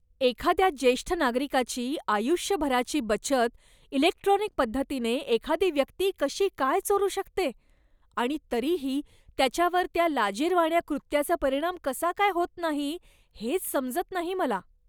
एखाद्या ज्येष्ठ नागरिकाची आयुष्यभराची बचत इलेक्ट्रॉनिक पद्धतीने एखादी व्यक्ती कशी काय चोरू शकते आणि तरीही त्याच्यावर त्या लाजिरवाण्या कृत्याचा परिणाम कसा काय होत नाही हेच समजत नाही मला.